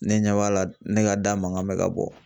Ne ɲɛ b'a la ne ka da mankan bɛ ka bɔ